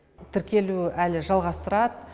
тіркелу әлі жалғастырады